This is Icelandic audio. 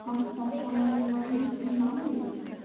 Hélt að það væri málið.